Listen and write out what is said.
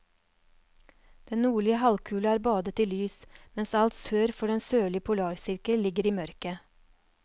Den nordlige halvkule er badet i lys, mens alt sør for den sørlige polarsirkel ligger i mørke.